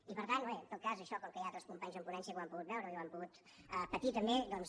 i per tant bé en tot cas això com que hi ha altres companys en ponència que ho han pogut veure i ho han pogut patir també doncs